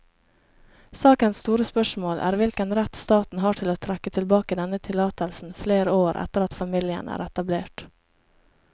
Sakens store spørsmål er hvilken rett staten har til å trekke tilbake denne tillatelsen flere år etter at familien er etablert.